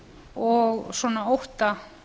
og svona ótta